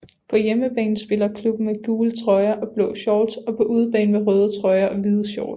På hjemmebane spiller klubben med gule trøjer og blå shorts og på udebane med røde trøjer og hvide shorts